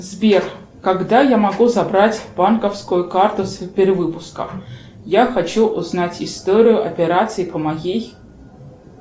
сбер когда я могу забрать банковскую карту с перевыпуска я хочу узнать историю операций по моей